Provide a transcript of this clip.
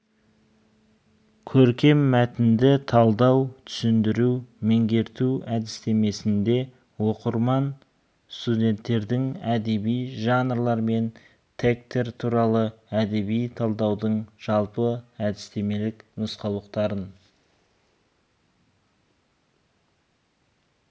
көркем мәтінді талдау түсіндіру меңгерту әдістемесінде оқырман студенттердің әдеби жанрлар мен тектер туралы әдеби талдаудың жалпы әдістемелік нұсқаулықтарын